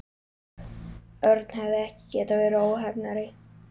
Örn hefði ekki getað verið óheppnari.